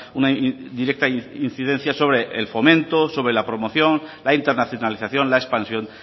una directa incidencia sobre el fomento sobre la promoción la internacionalización la expansión